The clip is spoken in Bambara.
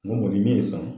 N ko kɔni min ye san